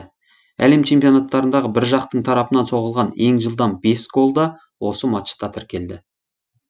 әлем чемпионаттарындағы бір жақтың тарапынан соғылған ең жылдам бес гол да осы матчта тіркелді